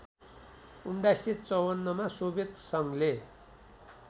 १९५४मा Soviet सङ्घले